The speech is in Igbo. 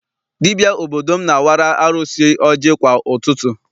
Dibịa obodo m na-awara arụsị ọjị kwa ụtụtụ.